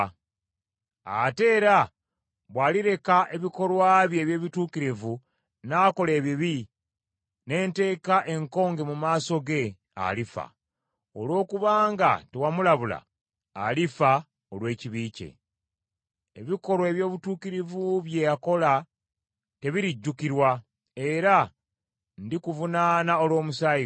“Ate era bw’alireka ebikolwa bye eby’obutuukirivu n’akola ebibi, ne nteeka enkonge mu maaso ge, alifa. Olw’okubanga tewamulabula, alifa olw’ekibi kye. Ebikolwa eby’obutuukirivu bye yakola tebirijjukirwa, era ndikuvunaana olw’omusaayi gwe.